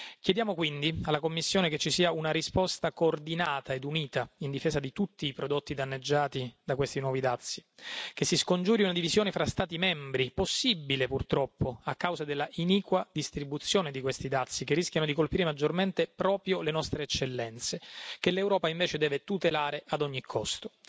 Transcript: Chiediamo quindi alla Commissione che ci sia una risposta coordinata e unita in difesa di tutti i prodotti danneggiati da questi nuovi dazi, che si scongiuri una divisione fra Stati membri, possibile purtroppo a causa della iniqua distribuzione di questi dazi, che rischiano di colpire maggiormente proprio le nostre eccellenze, che l'Europa invece deve tutelare ad ogni costo.